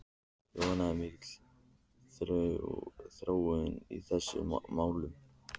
Jóhann, er mikil þróun í þessum málum?